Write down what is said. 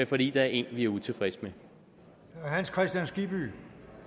fordi der er en vi er utilfredse med